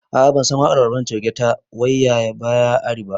A'a bansan waƙar barmani coge ta 'waiyaya baya ari' ba